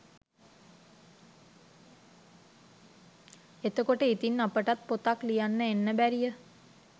එතකොට ඉතින් අපිටත් පොතක් ලියන් එන්න බැරිය